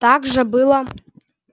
так же было